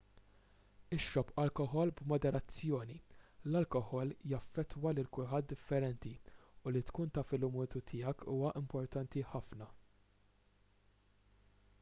ixrob alkoħol b'moderazzjoni l-alkoħol jaffettwa lil kulħadd differenti u li tkun taf il-limitu tiegħek huwa importanti ħafna